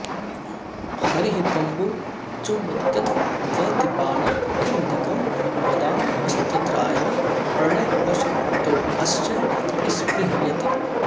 हरिः कम्बुं चुम्बत्यथ वहति पाणौ किमधिकं वदामस्तत्रायं प्रणयवशतोऽस्यै स्पृहयति